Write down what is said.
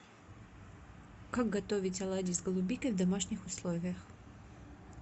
как готовить оладьи с голубикой в домашних условиях